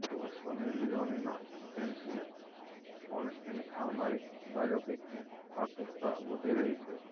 હવે સની લિયોનીના ફેન્સને પણ તેની આવનારી બાયોપિકની આતુરતા વધી રહી છે